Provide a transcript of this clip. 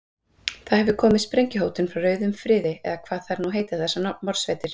Það hefur komið sprengjuhótun frá rauðum friði, eða hvað þær nú heita þessar morðsveitir.